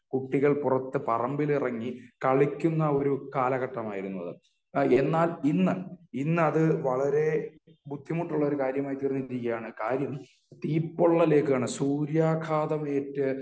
കുട്ടികൾ പുറത്ത് പറമ്പിലിറങ്ങി കളിക്കുന്ന ഒരു കാലഘട്ടമായിരുന്നു അത്. എന്നാൽ ഇന്നു ഇന്നത് വളരെ ബുദ്ധിമുട്ടുള്ള ഒരു കാര്യമായി തീർന്നി രിക്കുകയാണ് കാര്യം തീ പൊള്ളലേൽക്കുകയാണ് സൂര്യാഘാതംഏറ്റു .